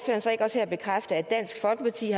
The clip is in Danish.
så ikke også her bekræfte at dansk folkeparti